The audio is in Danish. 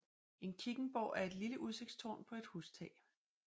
En kikkenborg er et lille udsigtstårn på et hustag